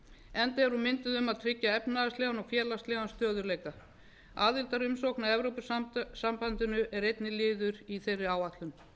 enda er hún mynduð um að tryggja efnahagslegan og félagslegan stöðugleika aðildarumsókn að evrópusambandinu er einnig liður í þeirri áætlun